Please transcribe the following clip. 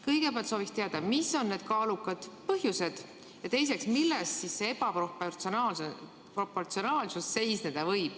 " Kõigepealt soovin teada, mis on need kaalukad põhjused, ja teiseks, milles see ebaproportsionaalsus seisneda võib.